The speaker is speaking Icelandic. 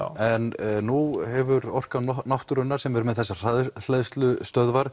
en nú hefur Orka náttúrunnar sem er með þessar